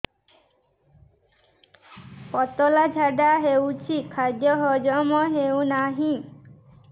ପତଳା ଝାଡା ହେଉଛି ଖାଦ୍ୟ ହଜମ ହେଉନାହିଁ